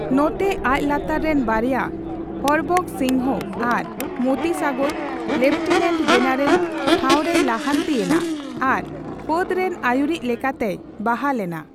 ᱱᱚᱛᱮ, ᱟᱡ ᱞᱟᱛᱟᱨ ᱨᱮᱱ ᱵᱟᱨᱭᱟ, ᱦᱚᱨᱵᱚᱠᱷᱚ ᱥᱤᱚᱝᱦᱚ ᱟᱨ ᱢᱚᱛᱤ ᱥᱟᱜᱚᱨ, ᱞᱮᱯᱷᱴᱮᱱᱮᱱᱴ ᱡᱮᱱᱟᱨᱮᱞ ᱴᱷᱟᱣᱨᱮᱭ ᱞᱟᱦᱟᱱᱛᱤ ᱭᱮᱱᱟ ᱟᱨ ᱯᱷᱟᱹᱫᱽ ᱨᱮᱱ ᱟᱹᱭᱩᱨᱤᱡ ᱞᱮᱠᱟᱛᱮᱭ ᱵᱟᱦᱟᱞ ᱮᱱᱟ ᱾